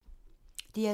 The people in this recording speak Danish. DR2